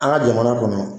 An ka jamana kɔnɔ